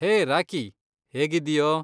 ಹೇ Rocky. ಹೇಗಿದ್ದೀಯೋ?